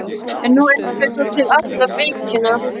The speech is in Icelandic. En nú eiga þau svo til alla víkina.